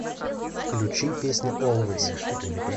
включи песня олвэйс